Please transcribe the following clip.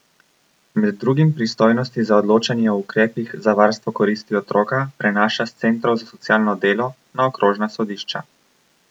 Med drugim pristojnosti za odločanje o ukrepih za varstvo koristi otroka prenaša s centrov za socialno delo na okrožna sodišča.